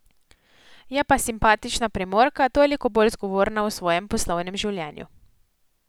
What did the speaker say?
Je pa simpatična Primorka toliko bolj zgovorna o svojem poslovnem življenju.